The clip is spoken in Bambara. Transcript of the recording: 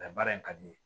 baara in ka di ne ye